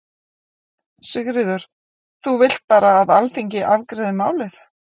Sigríður: Þú vilt bara að Alþingi afgreiði málið?